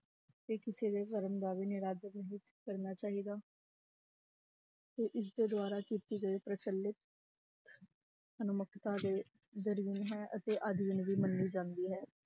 ਤੇ ਕਿਸੇ ਦੇ ਧਰਮ ਦਾ ਵੀ ਨਿਰਾਦਰ ਨਹੀਂ ਕਰਨਾ ਚਾਹੀਦਾ ਤੇ ਇਸਦੇ ਦੁਆਰਾ ਕੀਤੀ ਗਈ ਪ੍ਰਚਲਿਤ ਦੇ ਹੈ ਅਤੇ ਅਧੀਨ ਵੀ ਮੰਨੀ ਜਾਂਦੀ ਹੈ